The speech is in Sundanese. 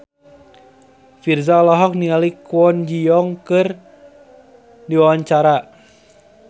Virzha olohok ningali Kwon Ji Yong keur diwawancara